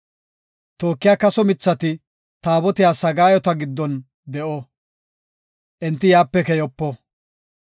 Tookiya kaso mithati Taabotiya sagaayota giddon de7o; enti yaape keyopo.